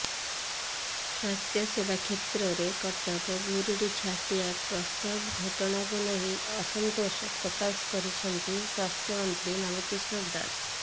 ସ୍ୱାସ୍ଥ୍ୟସେବା କ୍ଷେତ୍ରରେ କଟକ ଗୁରୁଡ଼ିଝାଟିଆ ପ୍ରସବ ଘଟଣାକୁ ନେଇ ଅସନ୍ତୋଷ ପ୍ରକାଶ କରିଛନ୍ତି ସ୍ୱାସ୍ଥ୍ୟମନ୍ତ୍ରୀ ନବ କିଶୋର ଦାସ